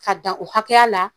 Ka dan o hakɛya la.